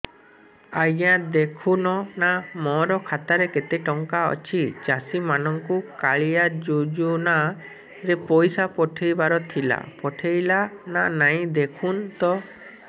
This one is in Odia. ଆଜ୍ଞା ଦେଖୁନ ନା ମୋର ଖାତାରେ କେତେ ଟଙ୍କା ଅଛି ଚାଷୀ ମାନଙ୍କୁ କାଳିଆ ଯୁଜୁନା ରେ ପଇସା ପଠେଇବାର ଥିଲା ପଠେଇଲା ନା ନାଇଁ ଦେଖୁନ ତ